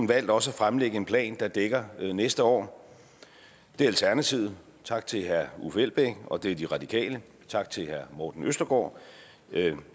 valgt også at fremlægge en plan der dækker næste år det er alternativet tak til herre uffe elbæk og det er de radikale tak til herre morten østergaard